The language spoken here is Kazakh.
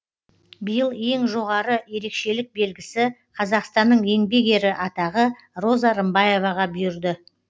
биыл ең жоғары ерекшелік белгісі қазақстанның еңбек ері атағы роза рымбаеваға бұйырды